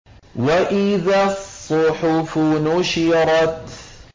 وَإِذَا الصُّحُفُ نُشِرَتْ